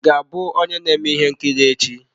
Ị ga-abụ onye na-eme ihe nkiri echi?